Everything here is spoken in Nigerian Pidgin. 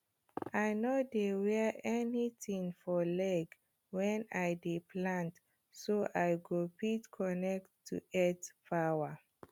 i no dey wear anything for leg when i dey plant so i go fit connect to earth power